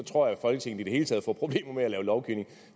tror jeg folketinget i det hele taget får problemer med at lave lovgivning